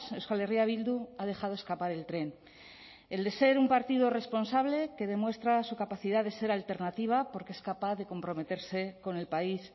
euskal herria bildu ha dejado escapar el tren el de ser un partido responsable que demuestra su capacidad de ser alternativa porque es capaz de comprometerse con el país